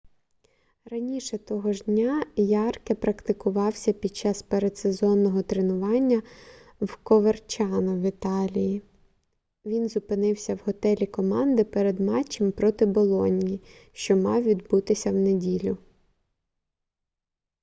раніше того ж дня ярке практикувався під час передсезонного тренування в коверчано в італії він зупинився в готелі команди перед матчем проти болоньї що мав відбутися в неділю